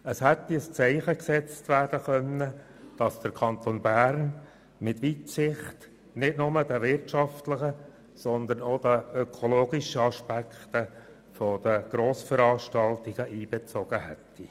Es hätte ein Zeichen gesetzt werden können, indem der Kanton Bern mit Weitsicht nicht nur wirtschaftliche, sondern auch ökologische Aspekte von Grossveranstaltungen einbezogen hätte.